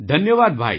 ધન્યવાદ ભાઈ